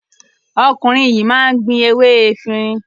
Ọkùnrin yìí máa ń ní gbin ewé efirin.